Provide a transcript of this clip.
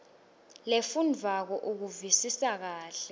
lefundvwako ukuvisisa kahle